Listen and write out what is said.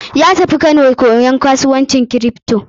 Ya tafi har Kano koyan kasuwancin kripto.